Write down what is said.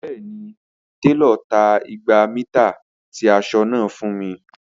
Bẹẹni, telo ta igba mita ti aṣọ naa fun mi.